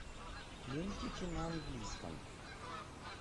мультики на английском